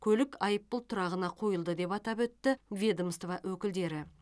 көлік айыппұл тұрағына қойылды деп атап өтті ведомство өкілдері